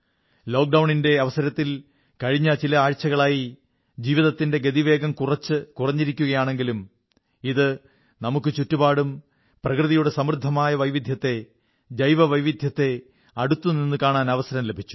ലോക്ഡൌണിന്റെ അവസരത്തിൽ കഴിഞ്ഞ ചില ആഴ്ചകളായി ജീവിതത്തിന്റെ ഗതിവേഗം കുറച്ച് കുറഞ്ഞിരിക്കയാണെങ്കിലും ഇത് നമുക്ക് ചുറ്റുപാടും പ്രകൃതിയുടെ സമൃദ്ധമായ വൈവിധ്യത്തെ ജൈവ വൈവിധ്യത്തെ അടുത്തുനിന്നു കാണാൻ അവസരം ലഭിച്ചു